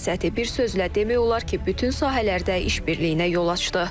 bir sözlə demək olar ki, bütün sahələrdə iş birliyinə yol açdı.